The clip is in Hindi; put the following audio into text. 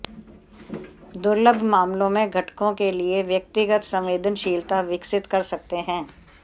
दुर्लभ मामलों में घटकों के लिए व्यक्तिगत संवेदनशीलता विकसित कर सकते हैं